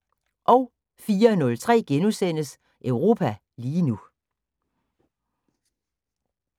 04:03: Europa lige nu *